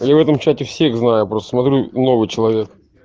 я в этом чате всех знаю просто смотрю новый человек